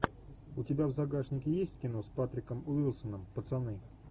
у тебя в загашнике есть кино с патриком уилсоном пацаны